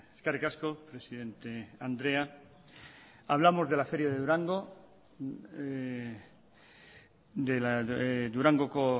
eskerrik asko presidente andrea hablamos de la feria de durango durangoko